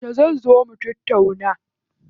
Yauce zan zo mu tattauna?